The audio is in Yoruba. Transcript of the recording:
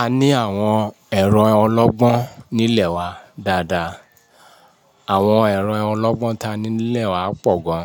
A ní àwọn ẹ̀rọ ọlọ́gbọ́n nílẹ̀ wa dáadáa. Àwọn ẹ̀rọ ọlọ́gbọ́n ta ni nílẹ̀ wa pọ̀ gan,